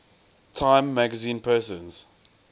time magazine persons